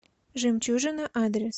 жемчужина адрес